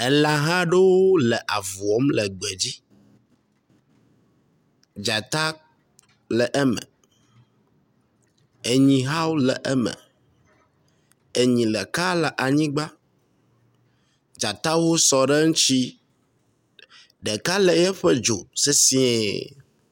Elãhawo le aŋu wɔm le egbe dzi. Dzata le eme. Enyi hã wo le eme. Enyi ɖeka le anyigba. Dzatawo sɔ ɖe eŋutsi. Ɖeka lé eƒe dzo sesiẽ.